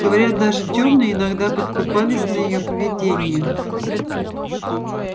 говорят даже тёмные иногда подкупались на её поведение